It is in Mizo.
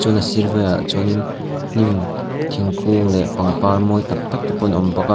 na sir velah chuanin hnim thingkung leh pangpar mawi tak tak te pawh an awm bawka a.